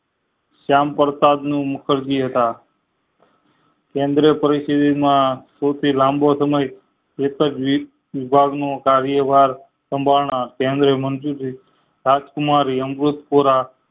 સ્યામ પરસાદ મુખર્જી હતા કેન્દ્ર પરિસદ માં સૌયહી લાંબો સમય કાર્યવાર સંભાર નાર કેન્દ્ર મંત્રી રાજકુમારી અમૃત કોરા